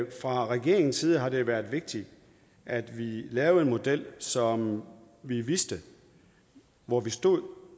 fra regeringens side har det været vigtigt at vi lavede en model så vi vidste hvor vi stod